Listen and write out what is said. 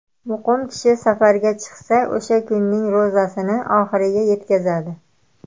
Muqim kishi safarga chiqsa, o‘sha kunning ro‘zasini oxiriga yetkazadi.